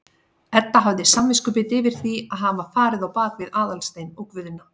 Edda hafði samviskubit yfir því að hafa farið á bak við Aðalstein og Guðna.